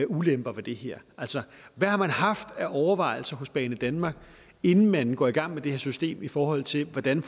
ulemper ved det her altså hvad har man haft af overvejelser hos banedanmark inden man går i gang med det her system i forhold til hvordan